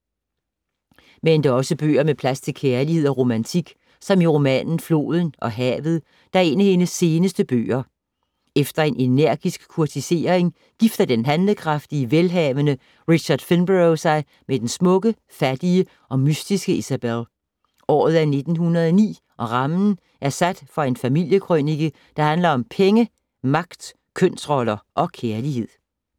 Men der er også bøger med plads til kærlighed og romantik, som i romanen Floden og havet, der er en af hendes seneste bøger. Efter en energisk kurtisering gifter den handlekraftige, velhavende Richard Finborough sig med den smukke, fattige og mystiske Isabel. Året er 1909 og rammen er sat for en familiekrønike, der handler om penge, magt, kønsroller og kærlighed.